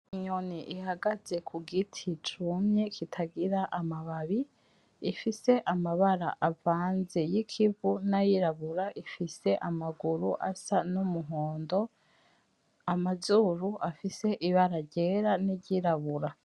Inyoni ihagaze kugiti cumye kitagira amababi. Ifise amabara avanze y'ikivu; nayirabura ifise amaguru asa n'umuhondo, amazuru afise ibara ryera niryirabura.